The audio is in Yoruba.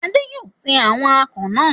Adé yóò se àwọn akàn náà.